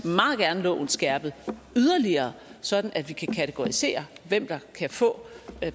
meget gerne loven skærpet yderligere sådan at vi kan kategorisere hvem der kan få